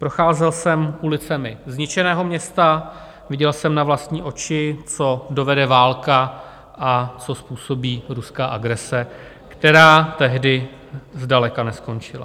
Procházel jsem ulicemi zničeného města, viděl jsem na vlastní oči, co dovede válka a co způsobí ruská agrese, která tehdy zdaleka neskončila.